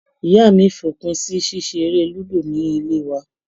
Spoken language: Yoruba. Ìyá mi fòpin sí ṣíṣe eré lúdò ní ilé wa.